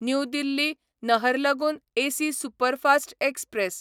new Delhi Naharlagun AC superfast express